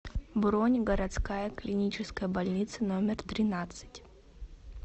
бронь городская клиническая больница номер тринадцать